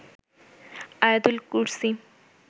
আয়াতুল কুরসি